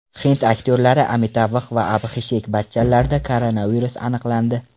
Hind aktyorlari Amitabh va Abxishek Bachchanlarda koronavirus aniqlandi.